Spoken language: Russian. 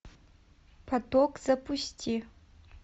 поток запусти